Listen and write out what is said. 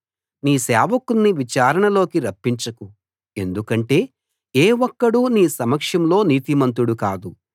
నీ సేవకుణ్ణి విచారణలోకి రప్పించకు ఎందుకంటే ఏ ఒక్కడూ నీ సమక్షంలో నీతిమంతుడు కాదు